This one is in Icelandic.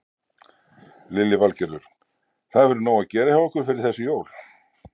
Lillý Valgerður: Það hefur verið nóg að gera hjá ykkur fyrir þessi jól?